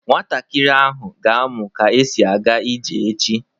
Nwatakịrị ahụ ga-amụ ka esi aga ije echi.